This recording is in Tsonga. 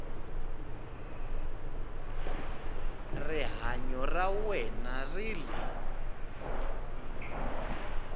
rihanyo ra wena ri le